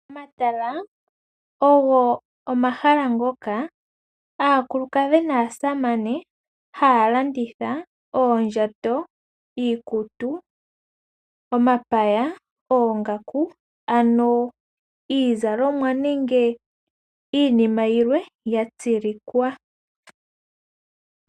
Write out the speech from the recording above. Omatala ogo omahala ngoka aakulukadhi naasamane haya landitha oondjato, iikutu, omapaya, oongaku, ano iizalomwa nenge iinima yilwe ya tsilikwa.